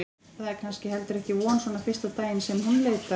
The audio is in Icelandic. Það er kannski heldur ekki von svona fyrsta daginn sem hún leitar.